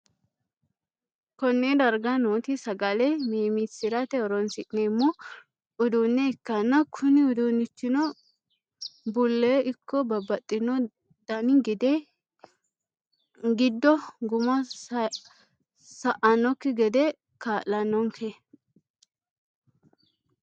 Konne darga nooti sagale meemmisi'rate horonsi'neemmo uduunne ikkanna, kuni uduunnichino bulle ikko babbaxxino dani gide giddo gumu sa"annokki gede kaa'lannonke.